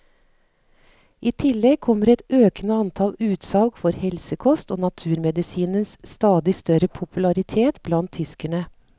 I tillegg kommer et økende antall utsalg for helsekost og naturmedisinens stadig større popularitet blant tyskerne.